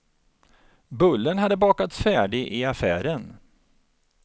Bullen hade bakats färdig i affären.